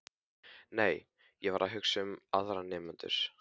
Nei, ég var ekki að hugsa um aðra nemendur.